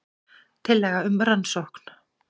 Tillaga um rannsókn